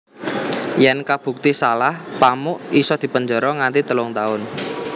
Yèn kabukti salah Pamuk isa dipenjara nganti telung tahun